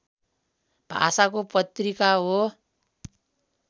भाषाको पत्रिका हो